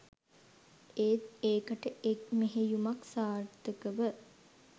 ඒත් ඒකට එක් මෙහෙයුමක් සාර්ථකව